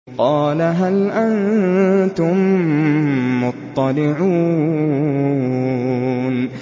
قَالَ هَلْ أَنتُم مُّطَّلِعُونَ